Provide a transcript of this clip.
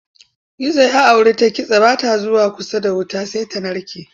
Gizo ya auri ta kitse ba ta zuwa kusa da wuta sai ta narke.